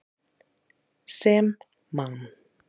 Sem Man.